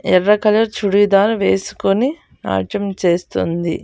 ఎర్ర కలర్ చుడిదార్ వేసుకొని నాట్యం చేస్తుంది.